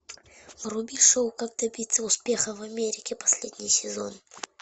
вруби шоу как добиться успеха в америке последний сезон